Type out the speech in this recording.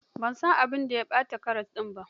Ban san abin da ya ɓata ƙaras ɗin ba.